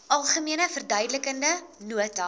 algemene verduidelikende nota